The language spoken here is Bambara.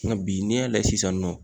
Nga bi n'e y'a layɛ sisan nɔ